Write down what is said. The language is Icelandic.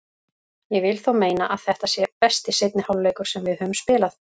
Ég vil þó meina að þetta sé besti seinni hálfleikur sem við höfum spilað.